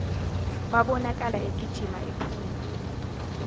wabonakala egijima ephuma